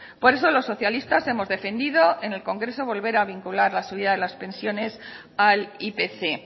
por eso los socialistas hemos defendido en el congreso volver a vincular la subida de las pensiones al ipc